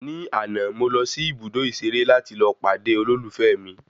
Ní àná, mo lọ sí ibùdó ìṣeré láti lọ pàdé olólùfẹ́ mi